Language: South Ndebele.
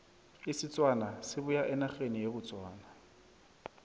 isitswana sibuya enerheni ye botswana